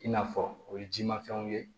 I n'a fɔ o ye jimafɛnw ye